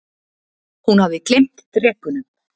Hún hafði gleymt drekunum.